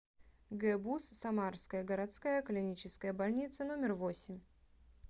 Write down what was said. гбуз самарская городская клиническая больница номер восемь